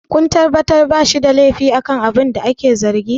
kun tabbatar ba shi da laifi akan abina ake zargi!